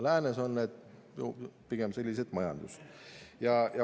Läänes on need pigem sellised majanduslikud küsimused.